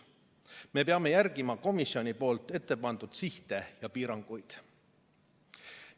Me peame järgima komisjoni poolt ette pandud sihte ja piiranguid.